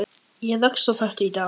Ég rakst á þetta í dag.